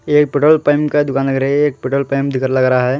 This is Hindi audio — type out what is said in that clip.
एक पेट्रोल पेमप का दुकान लग रही ये एक पेट्रोल पेमप की तरह लग रा है।